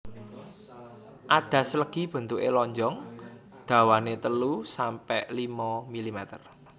Adas legi bentuke lonjong dawane telu sampe limo milimeter